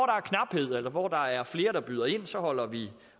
er knaphed eller hvor der er flere der byder ind holder vi